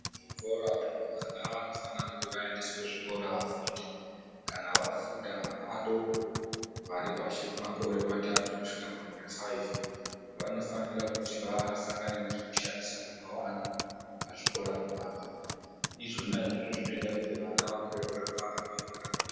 Muzvikora umwu vamweni vana vanofanira kuti vaendeswe kuzvikora vafunde. Kana vafunda vana vadoko varipashi pemakore amatatu kusvika pamakore faifi ,vanofanira kuti vave nezvekushandisa zvakawanda pazvikora pona apapo Izvona izvozvo zvoita kuti vana vakure vakangwara uye vakagwinya.